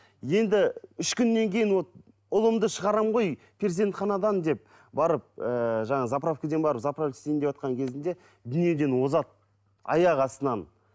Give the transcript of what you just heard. енді үш күннен кейін вот ұлымды шығарамын ғой перзентханадан деп барып ыыы жаңағы заправкіден барып заправить етейін деватқан кезінде дүниеден озады аяқ астынан